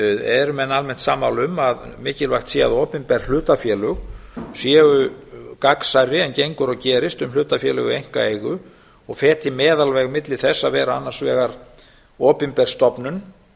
eru menn almennt sammála um að mikilvægt sé að opinber hlutafélög séu gagnsærri en gengur og gerist um hlutafélög í einkaeigu og feti meðalveg milli þess að vera annarsvegar opinber stofnun